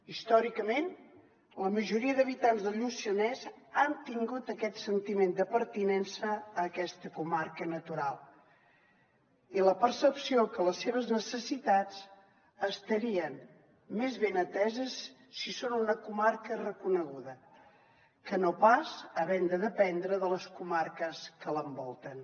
històricament la majoria d’habitants del lluçanès han tingut aquest sentiment de pertinença a aquesta comarca natural i la percepció que les seves necessitats estarien més ben ateses si són una comarca reconeguda que no pas havent de dependre de les comarques que l’envolten